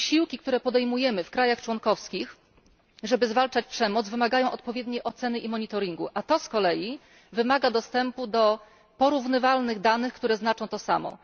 Wysiłki, które podejmujemy w krajach członkowskich, żeby zwalczać przemoc wymagają odpowiedniej oceny i monitoringu, a to z kolei wymaga dostępu do porównywalnych danych, które znaczą to samo.